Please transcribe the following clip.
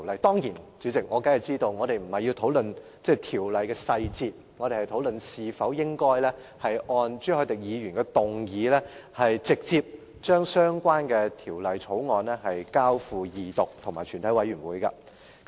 代理主席，我當然知道我們並非要討論《條例草案》的細節，而是討論應否按朱凱廸議員的議案，直接就相關《條例草案》進行二讀辯論和全體委員會審議階段。